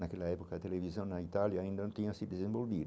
Naquela época a televisão na Itália ainda não tinha se desenvolvido.